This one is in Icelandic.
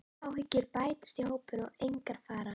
Áhyggjur bætast í hópinn og engar fara.